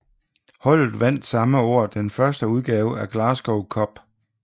Holdet vandt samme år den første udgave af Glasgow Cup